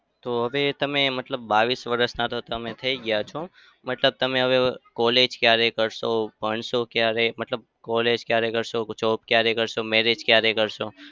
તો હવે તમે મતલબ બાવીસ વરસના તો તમે થઇ ગયા છો. મતલબ તમે હવે college ક્યારે કરશો? ભણશો ક્યારે? મતલબ college ક્યારે કરશો? job ક્યારે કરશો? marriage ક્યારે કરશો?